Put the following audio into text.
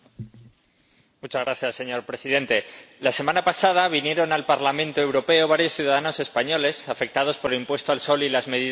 Señor Presidente, la semana pasada vinieron al Parlamento Europeo varios ciudadanos españoles afectados por el impuesto al sol y las medidas retroactivas.